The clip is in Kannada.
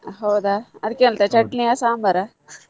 ಹೌದಾ ಅದಕ್ಕೆ ಎಂತ ಚಟ್ನಿಯ ಸಾಂಬಾರ?